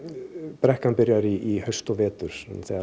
brekkan byrjar í haust og vetur þegar